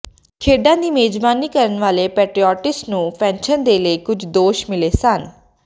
ਖੇਡਾਂ ਦੀ ਮੇਜ਼ਬਾਨੀ ਕਰਨ ਵਾਲੇ ਪੈਟਰੋਇਟਸ ਨੂੰ ਪੈਨਸ਼ਨ ਦੇ ਲਈ ਕੁਝ ਦੋਸ਼ ਮਿਲੇ ਸਨ